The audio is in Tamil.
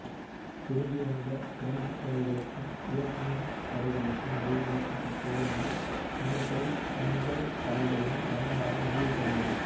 திரும்பி வந்த பிரெஞ்சுப் படைகளுக்கும் வியட் மின் படைகளுக்கும் இடையில் ஏற்பட்ட போரினால் மேற்படி அஞ்சல்தலைகளின் பயன்பாடு முடிவுக்கு வந்தது